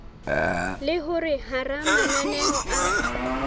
le hore hara mananeo a